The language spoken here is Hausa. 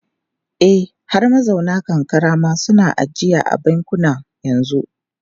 E, har mazauna karkara ma suna ajiya a bankuna yanzu.